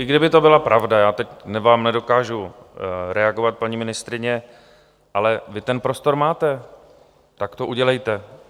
I kdyby to byla pravda, já vám teď nedokážu reagovat, paní ministryně - ale vy ten prostor máte, tak to udělejte.